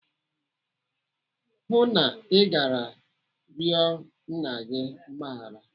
Hụụ na Ị gara yọọ Nna gị mgbaghara!